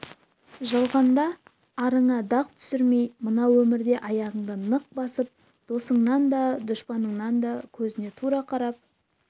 жалғанда арыңа дақ түсірмей мынау өмірде аяғыңды нық басып досыңның да дұшпаныңның да көзіне тура қарап